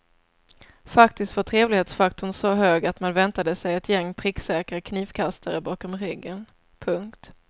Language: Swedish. Faktiskt var trevlighetsfaktorn så hög att man väntade sig ett gäng pricksäkra knivkastare bakom ryggen. punkt